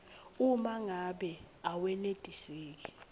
uma ngabe awenetiseki